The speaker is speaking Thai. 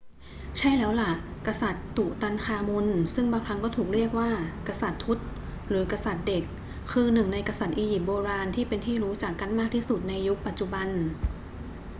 ใช่แล้วล่ะ กษัตริย์ตุตันคามุนซึ่งบางครั้งก็ถูกเรียกว่า กษัตริย์ทุต หรือ กษัตริย์เด็ก คือหนึ่งในกษัตริย์อียิปต์โบราณที่เป็นที่รู้จักกันมากที่สุดในยุคปัจจุบัน